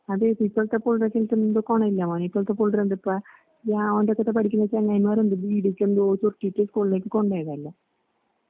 അതേ വോന്റടുത്തൊക്കെപഠിക്കുന്ന ചങ്ങായിമാരുണ്ട്. ബീഡിക്കെന്തോചുരുട്ടീട്ട് കൊള്ളേജി കൊണ്ടോയിവരല്ലേ.